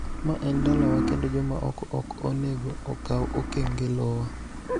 ma en dalawa kendo joma oko ok onego okaw okang� e lowa.